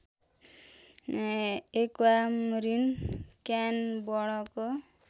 aquamarine क्यान वर्णको